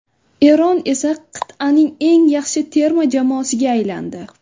Eron esa qit’aning eng yaxshi terma jamoasiga aylandi.